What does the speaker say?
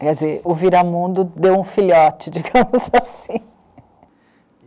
Quer dizer, o Viramundo deu um filhote, digamos assim.